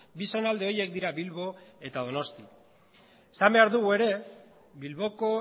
bi zonalde horiek dira bilbo eta donosti esan behar dugu ere bilboko